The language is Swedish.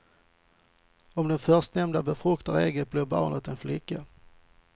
Om den förstnämnda befruktar ägget blir barnet en flicka.